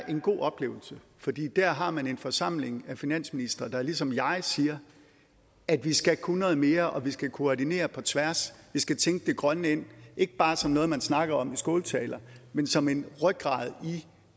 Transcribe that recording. en god oplevelse fordi der har man en forsamling af finansministre der ligesom jeg siger at vi skal kunne noget mere og at vi skal koordinere på tværs vi skal tænke det grønne ind ikke bare som noget man snakker om i skåltaler men som en rygrad i